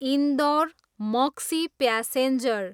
Indore, Maksi passenger